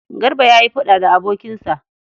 Garba ya yi faɗa da abokinsa.